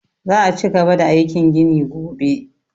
Za'a ci gaba da aikin gini gobe